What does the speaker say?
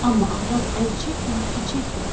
Amma arvad əl çəkmədi ki, çəkmədi.